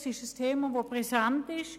Es ist ein Thema, das präsent ist;